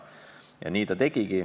Ja nii ta tegigi.